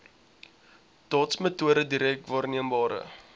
dotsmetode direk waarneembare